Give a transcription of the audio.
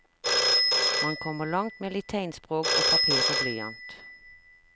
Man kommer langt med litt tegnspråk og papir og blyant.